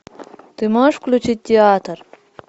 ты можешь включить театр